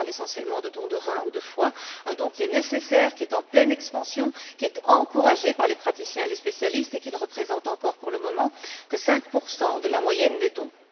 Je parle essentiellement de don de rein ou de foie, un don qui est nécessaire, qui est en pleine expansion, qui est encouragé par les praticiens et les spécialistes et qui ne représente encore, pour le moment, que 5 de la moyenne des dons.